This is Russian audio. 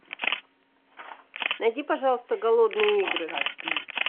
найди пожалуйста голодные игры